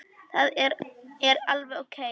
Það er alveg ókei.